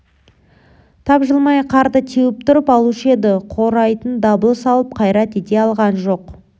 тапжылмай қарды теуіп тұрып алушы еді құрайтын дабыл салып қайрат ете алған жоқ